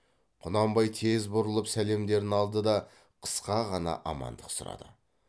құнанбай тез бұрылып сәлемдерін алды да қысқа ғана амандық сұрады